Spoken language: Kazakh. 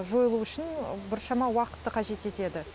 жойылу үшін біршама уақытты қажет етеді